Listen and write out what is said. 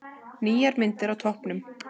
Nýjar myndir á toppnum